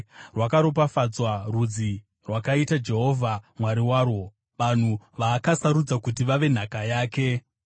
Rwakaropafadzwa rudzi rwakaita Jehovha Mwari warwo, vanhu vaakasarudza kuti vave nhaka yake.